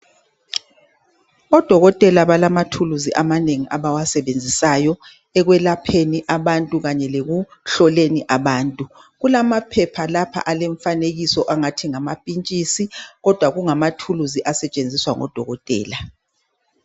Odokotela balamathuluzu amanengi abawasebenzisayo ekwelapheni abantu kanye lekuhloleni abantu kulamaphepha lapha alemfanekiso angathi ngamapitshisi kodwa kungamathuluzi asetshenziswa ngodokotela.